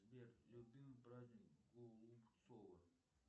сбер любимый праздник голубцова